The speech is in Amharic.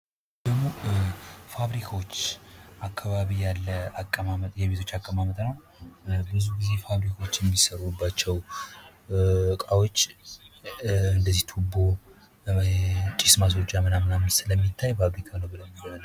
ይህ ደግሞ ፋብሪካዎች አካባቢ ያለ አቀባበጥ የቤቶች አቀማመጥ ነው። ብዙጊዜ ፋብሪካዎች የሚሰሩባቸው እቃዎች እንደዚሁ ቱቦ ጭስ ማስወጫ ምናምን ስለሚታይ ፋብሪካ ነው ብለን እናስባለን።